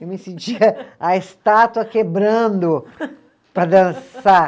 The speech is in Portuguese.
Eu me sentia a estátua quebrando para dançar.